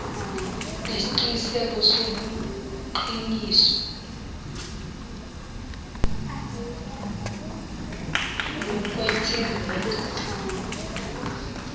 nesiqiniseko sobuqiniso nokwethembeka